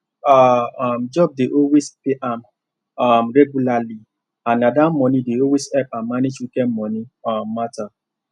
her um job dey always pay am um regularly and na that money dey always help am manage weekend money um matter